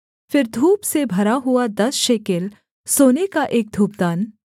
फिर धूप से भरा हुआ दस शेकेल सोने का एक धूपदान